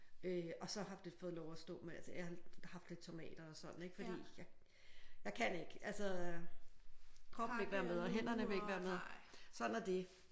Øh og så har det fået lov at stå men altså jeg har haft lidt tomater og sådan ik? Fordi jeg jeg kan ikke altså kroppen vil ikke være med og hænderne vil ikke være med sådan er det